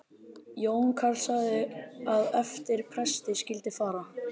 Jón karl sagði að eftir presti skyldi fara.